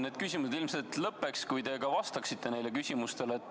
Need küsimused ilmselt lõppeks, kui te vastaksite neile.